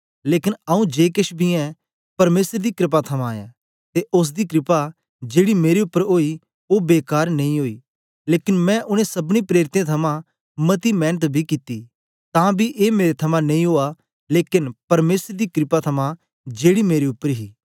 लेकन आऊँ जे केछ बी ऐं परमेसर दी क्रपा थमां ऐं ते ओसदी क्रपा जेड़ी मेरे उपर ओई ओ बेकार नेई ओई लेकन मैं उनै सबनी प्रेरितें थमां मती मेंनत बी कित्ती तां बी ए मेरे थमां नेई ओआ लेकन परमेसर दी क्रपा थमां जेड़ी मेरे उपर ही